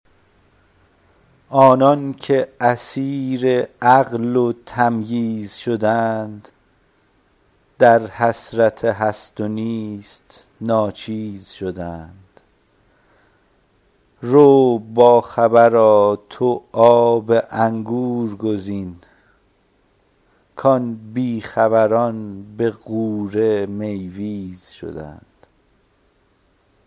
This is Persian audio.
آنان که اسیر عقل و تمییز شدند در حسرت هست ونیست ناچیز شدند رو با خبرا تو آب انگور گزین کآن بی خبران به غوره میویز شدند